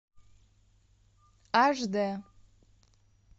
аш дэ